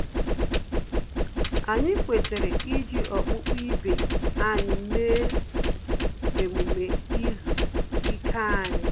Anyị kwetara iji okpukpe ibe anyị mee emume izu ike anyi